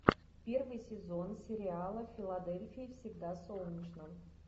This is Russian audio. первый сезон сериала в филадельфии всегда солнечно